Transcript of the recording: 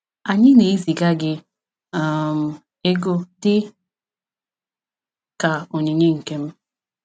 Anyị na-eziga gị um ego dị ka onyinye Nkem.